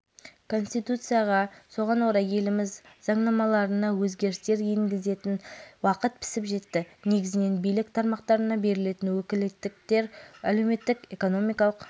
амантаева студент анастасия пушкарева тағы басқалар шығып сөйлеп елбасы үндеуінде айтылған мәселелердің дер уақытында жүргізілгелі